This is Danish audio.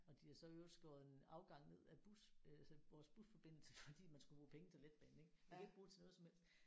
Og de har så i øvrigt skåret en afgang ned af bus øh altså vores busforbindelse fordi man skulle bruge penge til letbanen ik man kan ikke bruge det til noget som helst